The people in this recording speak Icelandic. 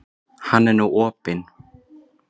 Hann er nú opinn.